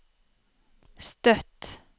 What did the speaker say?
Støtt